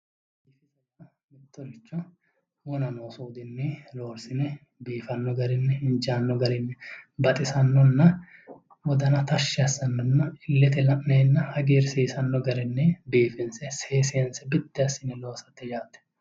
Mittoricho wona loonsoniricho biifano gede assine injano garini baxisanonna wodana tashshi assano garinna ilete la'neenna hagiirsiisano garinni biifinse seesinse biddi assine loosate yaate.